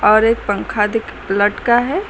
और एक पंखा दिख लटका है।